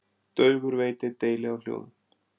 Daufur veit ei deili á hljóðum.